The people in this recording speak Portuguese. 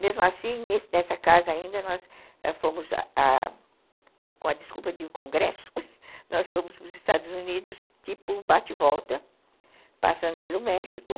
Mesmo assim, nessa casa ainda, nós fomos, com a a desculpa de um congresso, nós fomos para os Estados Unidos, tipo bate-volta, passando pelo México.